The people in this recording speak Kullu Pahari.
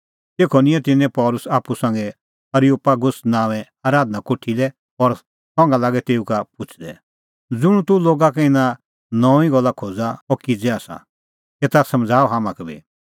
तेखअ निंयं तिन्नैं पल़सी आप्पू संघै एरियोपागुस नांओंए आराधना कोठी लै और संघा लागै तेऊ का पुछ़दै ज़ुंण तूह लोगा का इना नऊंईं गल्ला खोज़ा अह किज़ै आसा एता समझ़ाऊ हाम्हां का बी